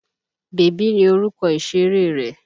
Bèbí ni orúkọ ìṣéré rẹ́.